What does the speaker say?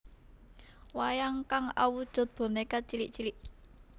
Wayang kang awujud bonèka cilik cilik